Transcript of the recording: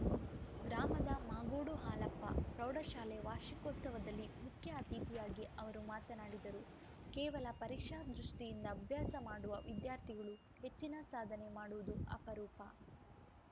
ಗ್ರಾಮದ ಮಾಗೋಡು ಹಾಲಪ್ಪ ಪ್ರೌಢಶಾಲೆ ವಾರ್ಷಿಕೋತ್ಸವದಲ್ಲಿ ಮುಖ್ಯ ಅತಿಥಿಯಾಗಿ ಅವರು ಮಾತನಾಡಿದರು ಕೇವಲ ಪರೀಕ್ಷಾ ದೃಷ್ಟಿಯಿಂದ ಅಭ್ಯಾಸ ಮಾಡುವ ವಿದ್ಯಾರ್ಥಿಗಳು ಹೆಚ್ಚಿನ ಸಾಧನೆ ಮಾಡುವುದು ಅಪರೂಪ